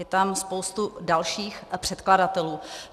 Je tam spoustu dalších předkladatelů.